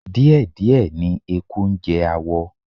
Díẹ̀díẹ̀ ni eku ń jẹ awọ